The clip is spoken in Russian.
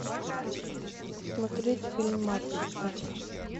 смотреть фильм матрица